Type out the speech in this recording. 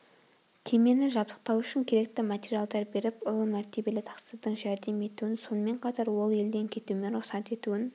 кемені жабдықтау үшін керекті материалдар беріп ұлы мәртебелі тақсырдың жәрдем етуін сонымен қатар ол елден кетуіме рұқсат етуін